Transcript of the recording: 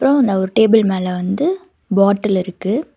ஒரு டேபிள் மேல வந்து பாட்டில் இருக்கு.